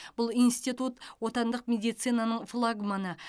бұл институт отандық медицинаның флагманы